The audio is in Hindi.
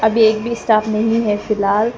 एक भी स्टाफ नहीं है फिलहाल।